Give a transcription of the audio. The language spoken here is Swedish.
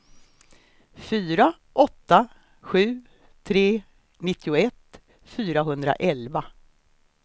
fyra åtta sju tre nittioett fyrahundraelva